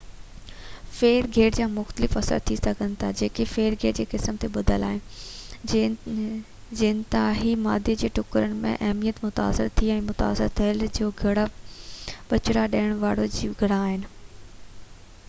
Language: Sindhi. ڦير گهير جا مختلف اثر ٿي سگهن ٿا جيڪي ڦير گهير جي قسم تي ٻڌل آهن جينياتي مادي جا ٽڪرن جي اهميت متاثر ٿي ۽ يا متاثر ٿيل جيو گهرڙا ٻچا ڏيڻ وارا جيوگهرڙا آهن